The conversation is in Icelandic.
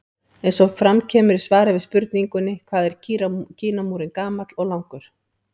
Eins og fram kemur í svari við spurningunni Hvað er Kínamúrinn gamall og langur?